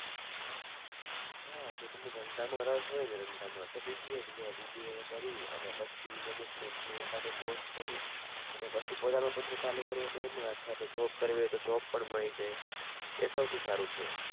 હાં જો તમને ધંધામાં રસ હોય ને ધંધામાં તો BBA જ લેવાય BBA કરી ને પછી management નો એકા દો course કરી અને પછી પોતાનો ધંધો ચાલુ કરવો હોય તો એમાં અથવા તો job કરવી હોય તો job પણ મળી જાય એ સૌથી સારું છે.